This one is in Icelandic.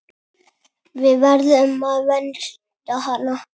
Við verðum að vernda hana.